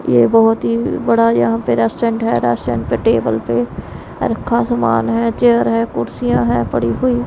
ये बहुत ही बड़ा यहां पे रेस्टोरेंट है रेस्टोरेंट पे टेबल पे रखा सामान है चेयर है कुर्सियां है पड़ी हुई --